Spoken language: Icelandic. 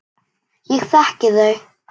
Ég þekki þau.